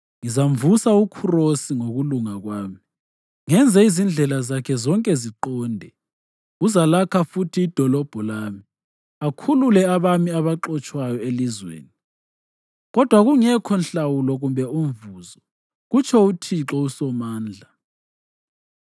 Ngizamvusa uKhurosi ngokulunga kwami, ngenze izindlela zakhe zonke ziqonde. Uzalakha futhi idolobho lami, akhulule abami abaxotshwayo elizweni, kodwa kungekho nhlawulo kumbe umvuzo, kutsho uThixo uSomandla.”